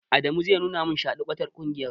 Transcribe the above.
Adamu zai nuna min shadikwatar ƙungiyar.